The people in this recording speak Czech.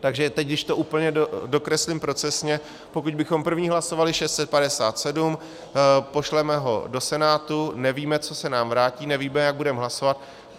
Takže teď, když to úplně dokreslím procesně, pokud bychom první hlasovali 657, pošleme ho do Senátu, nevíme, co se nám vrátí, nevíme, jak budeme hlasovat.